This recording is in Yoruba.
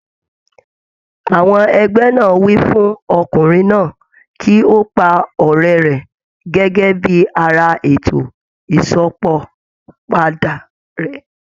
Àwọn ẹgbẹ́ náà wí fún Ọkùnrin náà kí ó pa ọ̀rẹ́ rẹ̀ gẹ́gẹ́ bí ara ètò Ìsópọ̀ padà rẹ̀.